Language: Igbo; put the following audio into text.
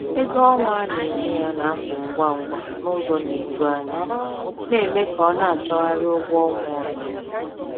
Ego ọnwa a na-enye ya na-apụ ngwa ngwa n’ụzọ na-eju anya, na-eme ka ọ na-achọgharị ụgwọ ọnwa ọzọ.